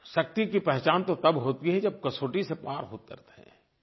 शक्ति की पहचान तो तब होती है जब कसौटी से पार उतरते हैं